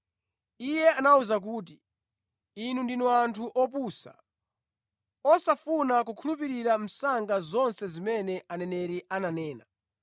Iye anawawuza kuti, “Inu ndinu anthu opusa, osafuna kukhulupirira msanga zonse zimene aneneri ananena!